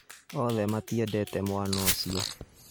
Othe matiendete mwana ũcio